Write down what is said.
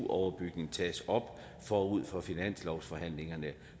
overbygningen tages op forud for finanslovsforhandlingerne